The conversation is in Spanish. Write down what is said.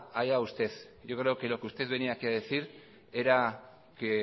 allá usted yo creo que lo que usted venía aquí a decir era que